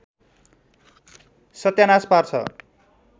सत्यानास पार्छ